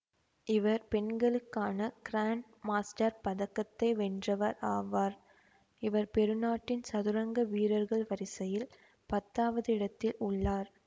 இவர் பெண்களுக்கான grand master பதக்கத்தை வென்றவர் ஆவார் இவர் பெரு நாட்டின் சதுரங்க வீரர்கள் வரிசையில் பத்தாவது இடத்தில் உள்ளார்